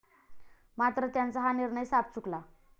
मात्र त्यांचा हा निर्णय साफ चुकला.